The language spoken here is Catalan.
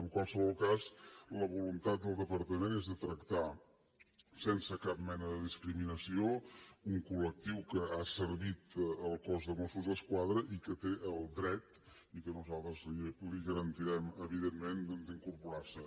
en qualsevol cas la voluntat del departament és tractar sense cap mena de discriminació un col·lectiu que ha servit al cos de mossos d’esquadra i que té el dret i nosaltres li garantirem evidentment d’incorporar se